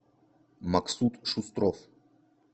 максуд шустров